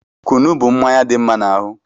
Kunu bụ mmanya dị mma n'ahụ